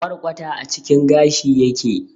Kwarkwata a cikin gashi yake